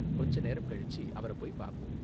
கொஞ்ச நேரம் கழிச்சு அவர போய் பாப்போம்.